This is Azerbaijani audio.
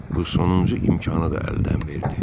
Bu sonuncu imkanı da əldən verdi.